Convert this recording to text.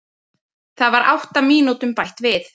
Það var átta mínútum bætt við